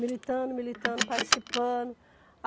Militando, militando, participando.